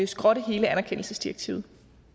skrotte hele anerkendelsesdirektivet